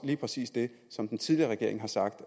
lige præcis det som den tidligere regering har sagt